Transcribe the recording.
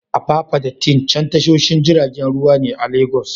Apapa da Tin Can tashoshin jiragen ruwa ne a Legas.